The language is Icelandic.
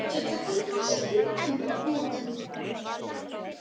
Þetta kallast skautun eða pólun.